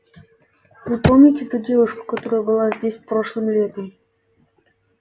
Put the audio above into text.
вы помните ту девушку которая была здесь прошлым летом